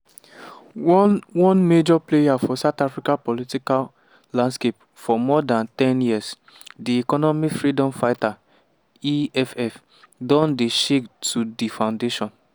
one one major player for south africa political landscape for more dan ten years di economic freedom fighters (eff) don dey shake to di foundation.